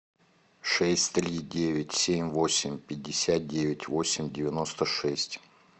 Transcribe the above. шесть три девять семь восемь пятьдесят девять восемь девяносто шесть